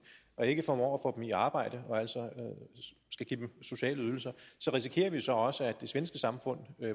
og ikke formår at få dem i arbejde og altså skal give dem sociale ydelser risikerer vi jo så også at det svenske samfund